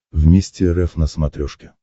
вместе рф на смотрешке